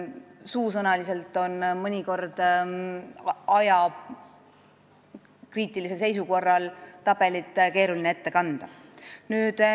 Ajakriitilises seisus on mõnikord keeruline tabelit suusõnaliselt ette kanda.